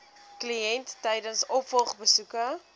kliënt tydens opvolgbesoeke